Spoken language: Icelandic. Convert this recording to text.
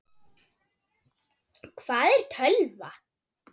Hvað er tölva?